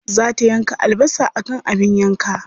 Za ta yanka albasa akan abin yanka.